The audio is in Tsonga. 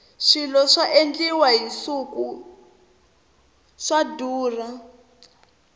swilo swa endliwa hi nsuku swa durha